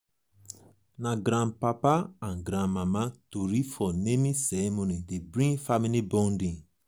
na grandpapa and grandmama tori for naming ceremony dey bring family bonding.